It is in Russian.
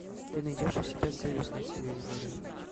ты найдешь у себя союз на телевизоре